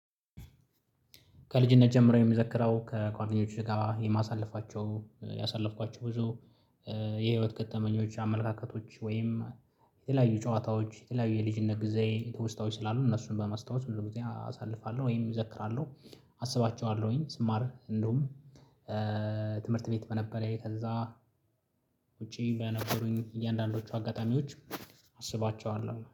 ከልጅነት ጀምሮ የሚዘክረው ከጓደኞቹ ጋር የማሳለፋቸው ያሳለፍኳቸው ብዙ የህይወት ገጥተመኞች አመለካከቶች ወይም የተለያዩ ጨዋታዎች የተለያዩ የልጅነት ጊዜ ተወስታውች ስላሉ እነሱን በማስታወስ ብዙ ጊዜ አሳልፋለሁ ወይም እዘክራለሁ። አስባቸዋለሁኝ ስማር እንደውም ትምህርት ቤት በነበረ ከዛ ውጪ በነበሩኝ እያንዳንዶቹ አጋጣሚዎች አስባቸዋለሁ